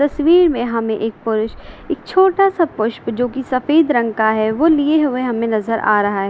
तस्वीर में हमें एक पुरूष एक छोटा सा पुष्प जो कि सफेद रंग का है वो लिए हुए हमें नजर आ रहा है।